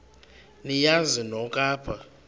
niyazi nonk apha